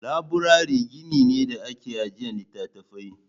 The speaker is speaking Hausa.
Laburare gini ne da ake ajiye littattafai.